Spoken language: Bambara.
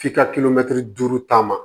F'i ka kilomɛtiri duuru ta